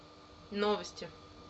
новости